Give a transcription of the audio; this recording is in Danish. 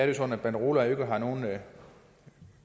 jo sådan at banderoler ikke har nogen